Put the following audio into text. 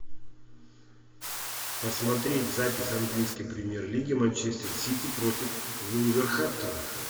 посмотреть запись английской премьер лиги манчестер сити против вулверхэмптона